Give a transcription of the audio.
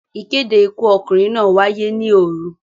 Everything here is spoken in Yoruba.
Ìkéde Ikú ọkùnrin náà wáyé ní òru.